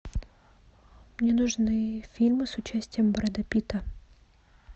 мне нужны фильмы с участием брэда питта